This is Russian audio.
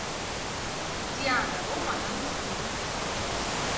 диана рома на русском языке